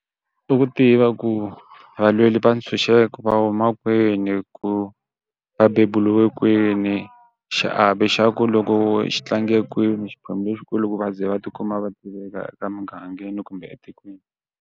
I ku tiva ku valweri va ntshunxeko va huma kwini ku va beburiwe kwini xiavi xa ku loko xi tlange kwini xiphemu lexikulu ku va ze va tikuma va tiveka eka emugangeni kumbe etikweni.